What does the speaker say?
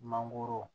Mangoro